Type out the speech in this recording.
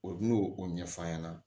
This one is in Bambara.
O n'o o ɲɛf'a ɲɛna